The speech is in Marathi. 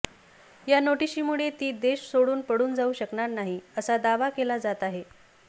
या नोटीशीमुळे ती देश सोडून पळून जाऊ शकणार नाही असा दावा केला जात आहे